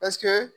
Paseke